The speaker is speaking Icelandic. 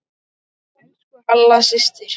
Elsku Halla systir.